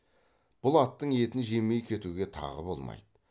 бұл аттың етін жемей кетуге тағы болмайды